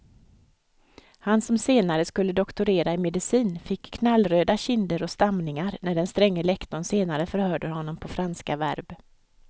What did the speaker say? Han som senare skulle doktorera i medicin fick knallröda kinder och stamningar när den stränge lektorn senare förhörde honom på franska verb.